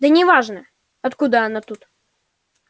да неважно откуда она тут